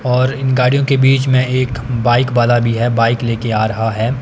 और इन गाड़ियों के बीच में एक बाइक वाला भी है बाइक लेके आ रहा है।